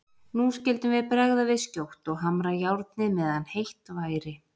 Nú skyldum við bregða við skjótt og hamra járnið meðan heitt væri.